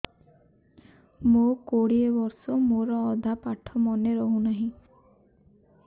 ମୋ କୋଡ଼ିଏ ବର୍ଷ ମୋର ଅଧା ପାଠ ମନେ ରହୁନାହିଁ